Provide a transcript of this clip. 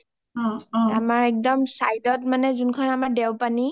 আমাৰ একদম side ত যোনখন মানে আমাৰ দেও পানি